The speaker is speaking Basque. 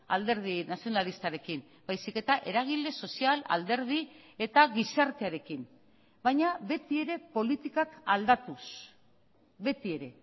alderdi nazionalistarekin baizik eta eragile sozial alderdi eta gizartearekin baina beti ere politikak aldatuz beti ere